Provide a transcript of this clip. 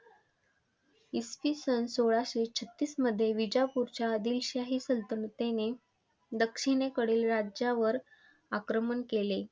इसवी सन सोळाशे छत्तीस मध्ये विजापूरच्या आदिलशाही सल्तनतीने दक्षिणेकडील राज्यावर आक्रमण केले.